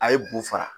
A ye bu fara